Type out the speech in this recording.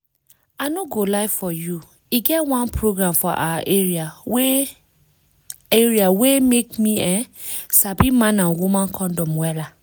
i no go lie for you e get one program for awa area wey area wey make me[um]sabi man and woman condom wella